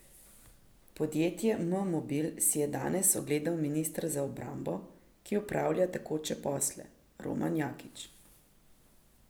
Podjetje M Mobil si je danes ogledal minister za obrambo, ki opravlja tekoče posle, Roman Jakič.